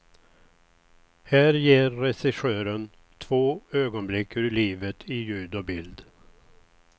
Här ger regissören två ögonblick ur livet i ljud, och bild.